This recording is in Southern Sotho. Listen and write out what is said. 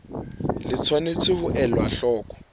tse tshwanetseng ho elwa hloko